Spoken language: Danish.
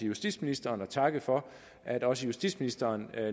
justitsministeren og takke for at også justitsministeren